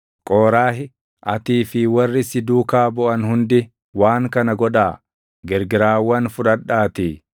Qooraahi, atii fi warri si duukaa buʼan hundi waan kana godhaa: Girgiraawwan fudhadhaatii